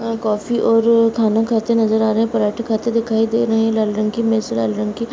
coffee और खाना खाते नज़र आ रहे है पराठे खाते दिखाई दे रहे है लाल रंग की मेज़ है लाल रंग की --